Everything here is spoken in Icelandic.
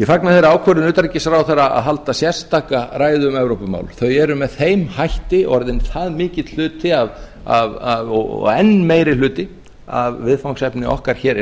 ég fagna þeirri ákvörðun utanríkisráðherra að halda sérstaka ræðu um evrópumál þau eru með þeim hætti orðin það mikill hluti og enn meiri hluti af viðfangsefni okkar hér